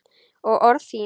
Og orð þín.